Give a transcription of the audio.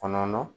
Kɔnɔ